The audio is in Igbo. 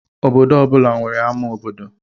Obodo ọ bụla nwere ámá obodo